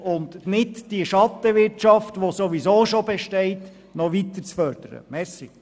Die ohnehin bereits bestehende Schattenwirtschaft sollte nicht noch mehr gefördert werden.